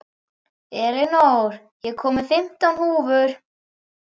Elinór, ég kom með fimmtán húfur!